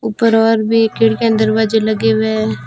ऊपर और भी खिड़कियां दरवाजे लगे हुए हैं।